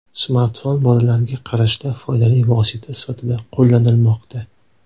Smartfon bolalarga qarashda foydali vosita sifatida qo‘llanilmoqda.